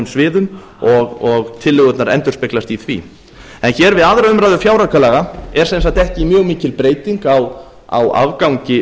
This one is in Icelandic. sviðum og tillögurnar endurspeglast í því en hér við aðra umræðu fjáraukalaga er sem sagt ekki mjög mikil breyting á afgangi